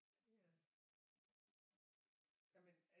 Det er jamen